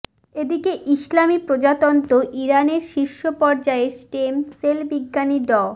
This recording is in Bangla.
এদিকে ইসলামি প্রজাতন্ত্র ইরানের শীর্ষ পর্যায়ের স্টেম সেল বিজ্ঞানী ড